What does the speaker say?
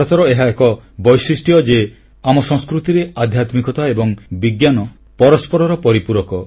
ଭାରତର ଏହା ଏକ ବୈଶିଷ୍ଟ୍ୟ ଯେ ଆମ ସଂସ୍କୃତିରେ ଆଧ୍ୟାତ୍ମିକତା ଏବଂ ବିଜ୍ଞାନ ପରସ୍ପରର ପରିପୂରକ